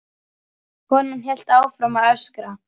Konan hélt áfram að öskra.